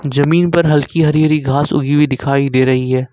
जमीन पर हल्की हरी हरी घास उगी हुइ दिखाई दे रही है।